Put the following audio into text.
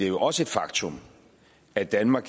jo også et faktum at danmark